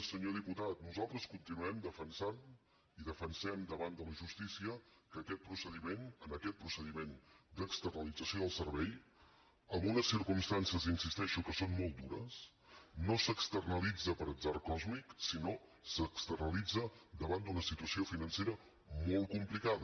senyor diputat nosaltres continuem defensant i defensem davant de la justícia que aquest procediment d’externalització del servei en unes circumstàncies hi insisteixo que són molt dures no s’externalitza per atzar còsmic sinó que s’externalitza davant d’una situació financera molt complicada